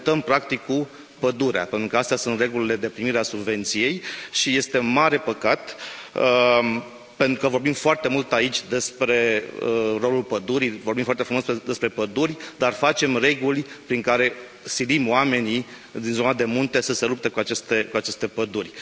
Ne luptăm, practic, cu pădurea pentru că astea sunt regulile de primire a subvenției și este mare păcat pentru că vorbim foarte mult aici despre rolul pădurii, vorbim foarte frumos despre păduri, dar facem reguli prin care silim oamenii din zona de munte să se lupte cu aceste păduri.